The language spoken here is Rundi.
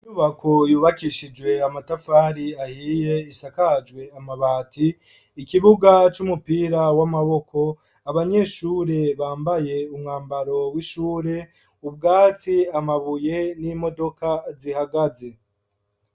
Inyubako yubakishijwe amatafari ahiye isakajwe amabati ikibuga cy'umupira w'amaboko abanyeshure bambaye umwambaro w'ishure ubwaci amabuye n'imodoka zihagaze.